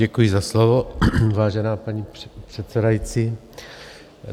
Děkuji za slovo, vážená paní předsedající.